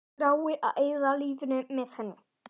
Þrái að eyða lífinu með henni.